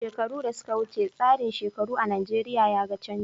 Shekaru da suka wuce, tsarin shekaru a Najeriya ya ga canji.